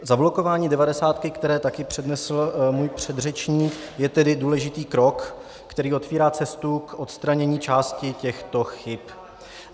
Zablokování devadesátky, které také přednesl můj předřečník, je tedy důležitý krok, který otevírá cestu k odstranění části těchto chyb.